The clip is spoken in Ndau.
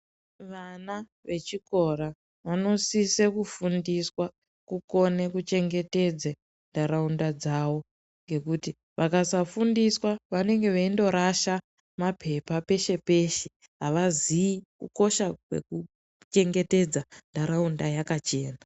Ana vechikora vanosise kufundiswa kukone kuchengetedza nharaunda dzavo nekuti vakasafundiswa vanenge veindorasa mapepa pese pese havazivi kukosha kuchengetedza nharaunda yakachena.